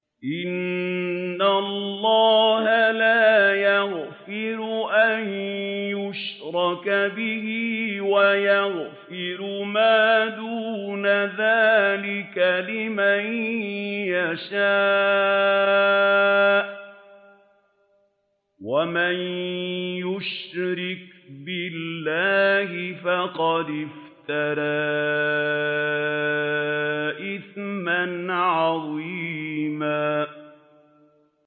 إِنَّ اللَّهَ لَا يَغْفِرُ أَن يُشْرَكَ بِهِ وَيَغْفِرُ مَا دُونَ ذَٰلِكَ لِمَن يَشَاءُ ۚ وَمَن يُشْرِكْ بِاللَّهِ فَقَدِ افْتَرَىٰ إِثْمًا عَظِيمًا